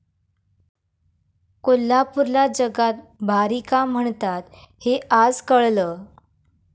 कोल्हापूरला जगात भारी का म्हणतात हे आज कळलं!